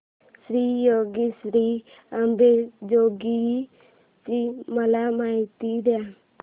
श्री योगेश्वरी अंबेजोगाई ची मला माहिती दे